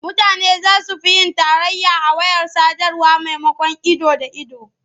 Mutane za su fi yin tarayya a wayar sadarwa maimakon ido da ido.